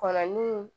Kɔnɔ ni